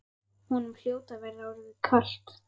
Honum hljóti að vera orðið kalt.